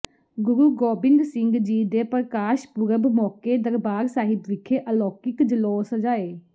ਗੁਰੂ ਗੋਬਿੰਦ ਸਿੰਘ ਜੀ ਦੇ ਪ੍ਰਕਾਸ਼ ਪੁਰਬ ਮੌਕੇ ਦਰਬਾਰ ਸਾਹਿਬ ਵਿਖੇ ਅਲੌਕਿਕ ਜਲੌਅ ਸਜਾਏ